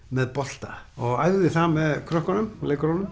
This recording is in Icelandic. með bolta og æfði það með krökkunum